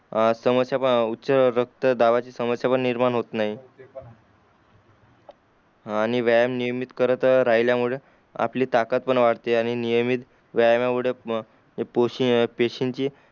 अ समच्या ऊच रक्त दाबाचे समस्या निर्माण होते नाही हां व्यायाम नियमित करत राहिल्या मुळे आपली ताकत पण वाढते आणि नियमित व्यायामामुढे म ए पोषी पेशींची